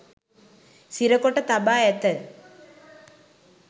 සිරකොට තබා ඇත